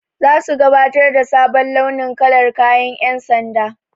Zasu gabatar da sabon launin kalar kayan ƴan sanda.